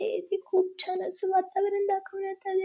हे इथे खूप छान असं वातावरण दाखवण्यात आले.